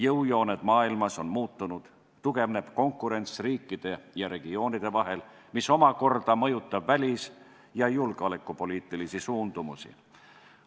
Jõujooned maailmas on muutunud, tugevneb konkurents riikide ja regioonide vahel, mis omakorda mõjutab välis- ja julgeolekupoliitilisi suundumusi.